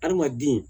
Adamaden